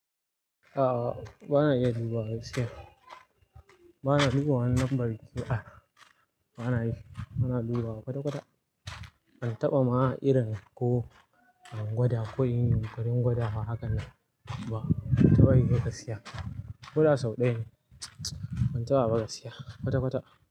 A'a, ba na iya dubawa gaskiya. Ba na dubawa wani numbar waya. Ba na yi, ba na dubawa kwata-kwata. Ban taɓa ma irin ko gwada ko yin karin gwada haka na ba. Ban taɓa yi ba gaskiya. Ko da sau ɗaya ne. Ban taɓa ba gaskiya kwata-kwata.